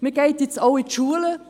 Man geht nun auch in die Schulen.